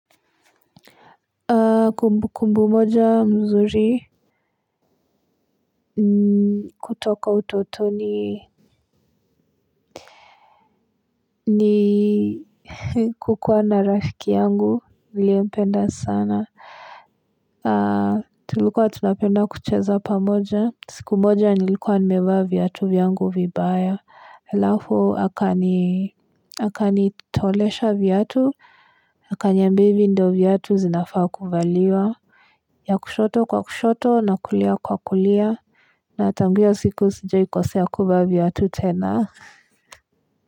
Kumbukumbu moja mzuri kutoka utotoni ni kukuwa na rafiki yangu vile mimi hupenda sana. Tulikuwa tunapenda kucheza pamoja. Siku moja nilikuwa nimevaa viatu vyangu vibaya. Alafu akanitolesha viatu. Akaniambia hivi ndio viatu sinavaa kuvaliwa ya kushoto kwa kushoto na kulia kwa kulia. Na tangu hiyo siku sijaaikosea kuvaa viatu tena.